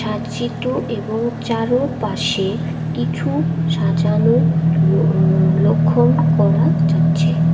এবং চারোপাশে কিছু সাজানো লো লক্ষণ করা যাচ্ছে।